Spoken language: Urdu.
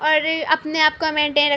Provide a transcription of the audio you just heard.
اور اپنے آپ کو میںتین --